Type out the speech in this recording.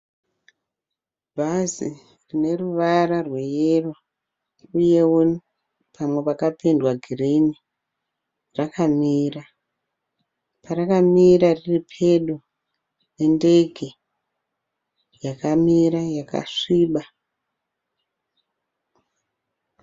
Bhazi rine ruvara rweyero iyewo pamwe pakapendwa girini rakamira. Parakamira riri pedo nendege yakamira yakasviba.